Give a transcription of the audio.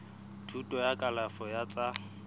thuto ya kalafo ya tsa